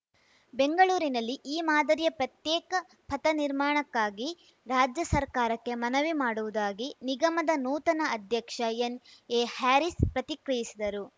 ಬೆಂಗಳೂರಿನಲ್ಲಿ ಈ ಮಾದರಿಯ ಪ್ರತ್ಯೇಕ ಪಥ ನಿರ್ಮಾಣಕ್ಕಾಗಿ ರಾಜ್ಯ ಸರ್ಕಾರಕ್ಕೆ ಮನವಿ ಮಾಡುವುದಾಗಿ ನಿಗಮದ ನೂತನ ಅಧ್ಯಕ್ಷ ಎನ್‌ಎಹ್ಯಾರಿಸ್‌ ಪ್ರತಿಕ್ರಿಯಿಸಿದರು